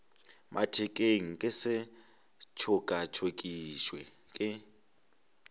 mathekeng ke se tšokatšokišwe ke